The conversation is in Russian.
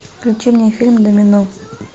включи мне фильм домино